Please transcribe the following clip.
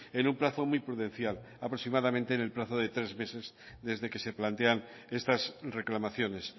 en un plazo muy prudencial aproximadamente en el plazo de tres meses desde que se plantean estas reclamaciones